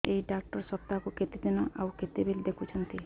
ଏଇ ଡ଼ାକ୍ତର ସପ୍ତାହକୁ କେତେଦିନ ଆଉ କେତେବେଳେ ଦେଖୁଛନ୍ତି